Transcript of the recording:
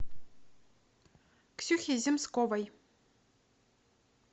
ксюхе земсковой